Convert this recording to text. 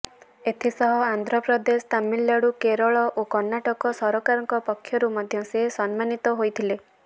ଏଥିସହ ଆନ୍ଧ୍ରପ୍ରଦେଶ ତାମିଲନାଡ଼ୁ କେରଳ ଓ କର୍ଣ୍ଣାଟକ ସରକାରଙ୍କ ପକ୍ଷରୁ ମଧ୍ୟ ସେ ସମ୍ମାନୀତ ହୋଇଥିଲେ